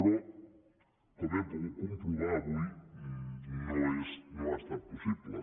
però com hem pogut comprovar avui no ha estat possible